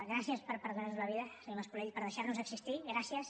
gràcies per perdonar nos la vida senyor mas colell per deixar nos existir gràcies